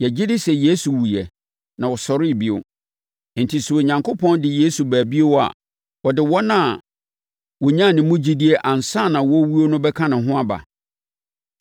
Yɛgye di sɛ Yesu wuiɛ, na ɔsɔree bio. Enti sɛ Onyankopɔn de Yesu ba bio a, ɔde wɔn a wɔnyaa ne mu gyidie ansa na wɔrewuo no bɛka ne ho aba.